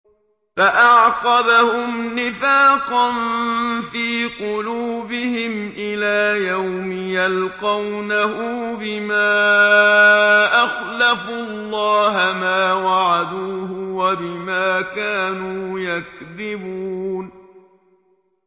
فَأَعْقَبَهُمْ نِفَاقًا فِي قُلُوبِهِمْ إِلَىٰ يَوْمِ يَلْقَوْنَهُ بِمَا أَخْلَفُوا اللَّهَ مَا وَعَدُوهُ وَبِمَا كَانُوا يَكْذِبُونَ